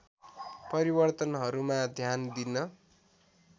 परिवर्तनहरूमा ध्यान दिन